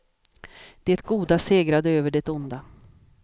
Det goda segrade över det onda.